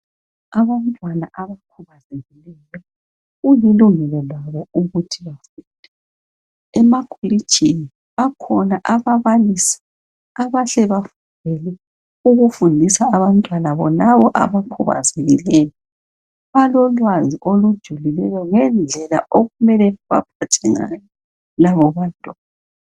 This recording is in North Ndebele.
Abantwana abakhubazekileyo, Kulilungelo labo ukuthi bafunde. Emakolitshini bakhona ababalisi abahle bafundele ukufundisa abantwana bonabo abakhubazekileyo. Balolwazi ngendlela okumele babaphathe ngayo labobantwana.